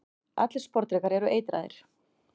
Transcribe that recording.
allir sporðdrekar eru eitraðir